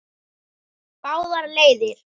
Báðar leiðir.